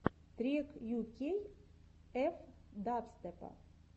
трек ю кей эф дабстепа